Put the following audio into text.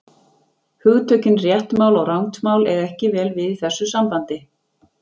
Hugtökin rétt mál og rangt mál eiga ekki vel við í þessu sambandi.